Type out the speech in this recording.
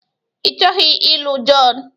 Ịchọghị ịlụ John?